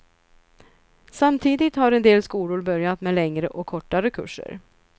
Samtidigt har en del skolor börjat med längre och kortare kurser.